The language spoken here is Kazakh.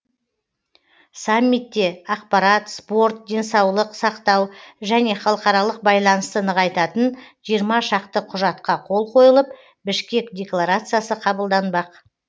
саммитте ақпарат спорт денсаулық сақтау және халықаралық байланысты нығайтатын жиырма шақты құжатқа қол қойылып бішкек декларациясы қабылданбақ